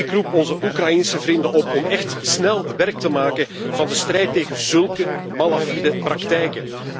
Ik roep onze Oekraïense vrienden op om echt snel werk te maken van de strijd tegen zulke malafide praktijen.